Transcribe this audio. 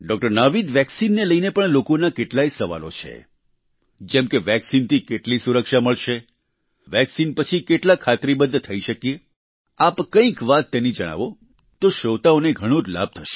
નાવિદ વેક્સિનને લઈને પણ લોકોના કેટલાય સવાલો છે જેમ કે વેક્સિનથી કેટલી સુરક્ષા મળશે વેક્સિન પછી કેટલા ખાતરીબદ્ધ થઈ શકીએ આપ કંઈક વાત તેની જણાવો તો શ્રોતાઓને ઘણો જ લાભ થશે